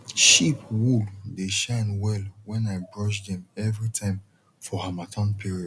sheep wool dey shine well when i brush dem every time for harmattan period